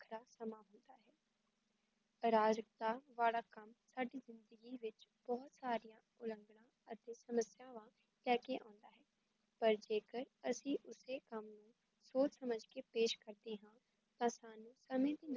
ਰਾਜਕਾ ਵਾੜਾਕਮ ਸਾਡੀ ਜਿੰਦਗੀ ਵਿੱਚ, ਬਹੁਤ ਸਾਰੀਆਂ ਉਲੰਘਣਾ ਅਤੇ ਸਮੱਸਿਆਵਾਂ ਲੈ ਕੇ ਆਉਂਦਾ ਹੈ ਪਰ ਜੇ ਕਰ ਅਸੀ ਓਸੇ ਕੰਮ ਨੂੰ ਸੋਚ ਸਮਝ ਕੇ ਪੇਸ਼ ਕਰਦੇ ਹਾਂ ਤਾਂ ਸਾਨੂ ਕਦੇ ਨਾ